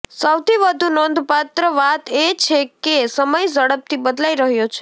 સૌથી વધુ નોંધપાત્ર વાત એ છે કે સમય ઝડપથી બદલાઈ રહ્યો છે